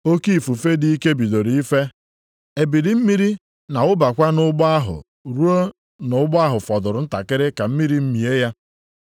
Oke ifufe dị ike bidoro ife, ebili mmiri na-awụbakwa nʼụgbọ ahụ ruo na ụgbọ ha fọdụrụ ntakịrị ka mmiri mie ya.